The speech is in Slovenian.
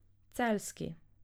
Celjski.